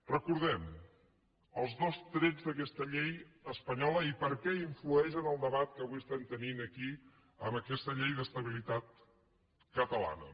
recordem els dos trets d’aquesta llei espanyola i per què influeix en el debat que avui tenim aquí amb aquesta llei d’estabilitat catalana